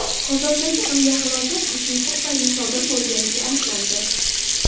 Qozondagi aviahalokat uchuvchi tufayli sodir bo‘lganligi aniqlandi.